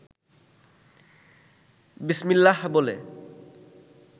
বিসমিল্লাহ বলে